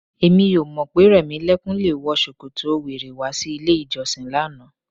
Èmi ò mọ̀ pé Rẹ̀mílẹ́kún le wọ ṣòkòtò wèrè wá sí ilé-ìjọsìn lánàá.